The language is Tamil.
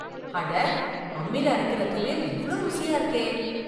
அட, அம்மில அரைக்கற துவையல் இவ்ளோ ருசியா இருக்கே.